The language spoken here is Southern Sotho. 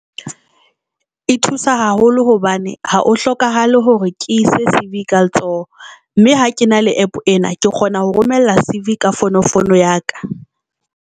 E thusa haholo hobane ha o hlokahale hore ke ise C_V ka letsoho mme ha ke na le APP ena ke kgona ho romella C_V ka fono fono ya ka.